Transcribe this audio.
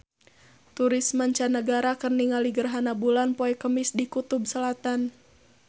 Turis mancanagara keur ningali gerhana bulan poe Kemis di Kutub Selatan